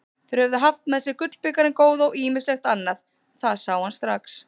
Þeir höfðu haft með sér gullbikarinn góða og ýmislegt annað, það sá hann strax.